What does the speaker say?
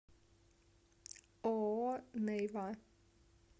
ооо нейва